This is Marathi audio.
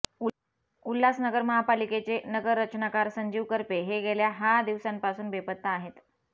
उल्हासनगर महापालिकेचे नगररचनाकार संजीव करपे हे गेल्या हा दिवसांपासून बेपत्ता आहेत